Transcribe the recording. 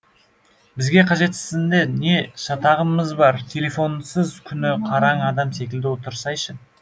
бізге қажетсізінде не шатағымыз бар телефонсыз күні қараң адам секілді отырсайшы